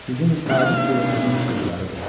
Sizin sadiq qulunuzun qızlarıdır.